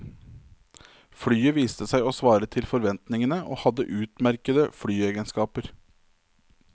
Flyet viste seg å svare til forventningene og hadde utmerkede flyegenskaper.